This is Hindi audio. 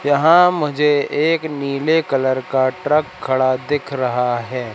यहां मुझे एक नीले कलर का ट्रक खड़ा दिख रहा है।